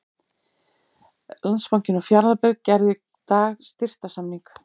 Landsbankinn og Fjarðabyggð gerðu í dag styrktarsamning.